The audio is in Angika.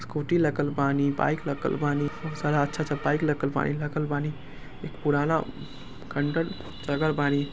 स्कूटी लगल बानी बाइक लगल बानी बहुत सारा अच्छा-अच्छा बाइक लगल बानी लगल बानी एक पुराना खंडर जगह बानी।